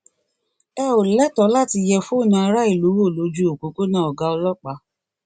ẹ ò lẹtọọ àti yẹ fóònù aráàlú wò lójú òpópónà ọgá ọlọpàá